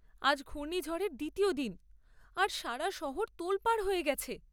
আজ ঘূর্ণিঝড়ের দ্বিতীয় দিন, আর সারা শহর তোলপাড় হয়ে গেছে।